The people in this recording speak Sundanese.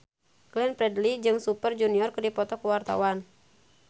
Glenn Fredly jeung Super Junior keur dipoto ku wartawan